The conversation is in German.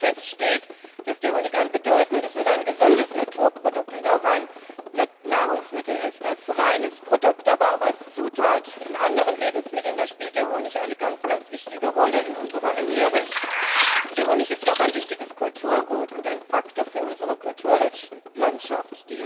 Aber es steht fest, dass der Honig ein bedeutendes und ein gesundes Naturprodukt und auch ein Nahrungsmittel ist. Als reines Produkt, aber auch als Zutat in anderen Lebensmitteln spielt der Honig eine ganz wichtige Rolle in unserer Ernährung. Der Honig ist auch ein wichtiges Kulturgut und ein Faktor für unsere Kulturlandschaft.